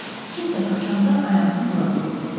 Kimsə qaçanda ayağını bura qoyub.